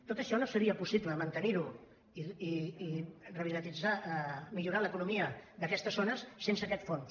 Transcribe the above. tot això no seria possible mantenir ho i revitalitzar millorar l’economia d’aquestes zones sense aquest fons